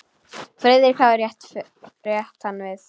Friðrik hafði rétt hann við.